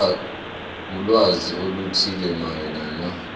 ulwazi oluthile mayelana